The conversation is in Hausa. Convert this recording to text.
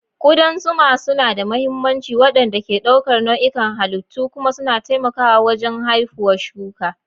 Kudan zuma suna da mahimmancin waɗanda ke ɗaukar nau'ikan halittu kuma suna taimakawa wajen haifuwa shuka.